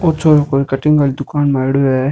ओ छोरो कोई कटिंग आली दुकान म आयडॉ है।